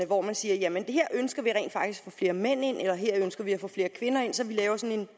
hvor man siger at her ønsker vi at få flere mænd ind eller her ønsker vi at få flere kvinder ind så vi laver sådan